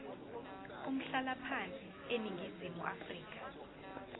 umhlalaphansi eningizimu afrika